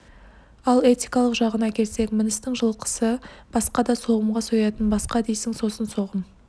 ал этикалық жағына келсек міністің жылқысы басқа да соғымға соятын басқа дейсің сосын соғым